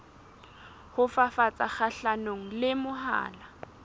ho fafatsa kgahlanong le mahola